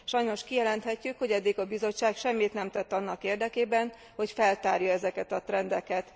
Sajnos kijelenthetjük, hogy eddig a Bizottság semmit nem tett annak érdekében, hogy feltárja ezeket a trendeket.